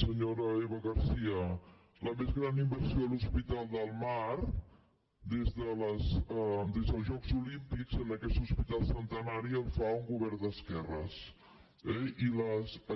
senyora eva garcía la més gran inversió a l’hospital del mar des dels jocs olímpics en aquest hospital centenari la fa un govern d’esquerres eh i